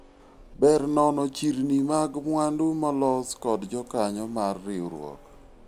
ber nono chirni mag mwandu ma olos kod jokanyo mar riwruok